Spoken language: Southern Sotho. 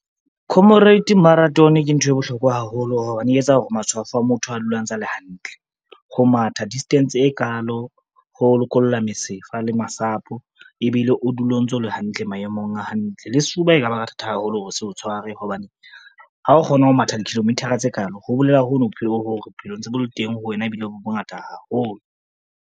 Comrade marathon ke nthwe bohlokwa haholo hobane e etsa hore matshwafo a motho a dula a ntse a le hantle. Ho matha distance e kalo ho lokolla mesifa le masapo, ebile o dula o ntso o le hantle maemong a hantle. Le sefuba e ka ba ka thata haholo hore se o tshware hobane, ha o kgona ho matha di-kilometer-a tse kalo ho bolela hono bophelong hore bophelo ntse bo le teng ho wena ebile bo bongata haholo.